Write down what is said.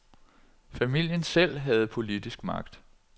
Familien selv havde politisk magt.